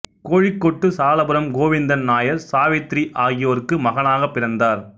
கோழிக்கோட்டு சாலப்புறம் கோவிந்தன் நாயர் சாவித்ரி ஆகியோர்க்கு மகனாகப் பிறந்தார்